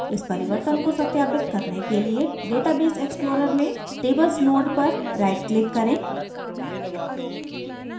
इस परिवर्तन को सत्यापित करने के लिए database explorer में tables node पर rightclick करें